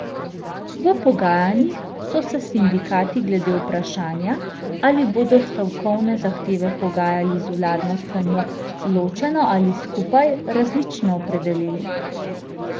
V pogajanjih so se sindikati glede vprašanja, ali bodo stavkovne zahteve pogajali z vladno stranjo ločeno ali skupaj, različno opredelili.